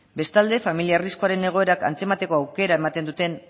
bestalde familia arriskuaren egoerak antzemateko aukera ematen duten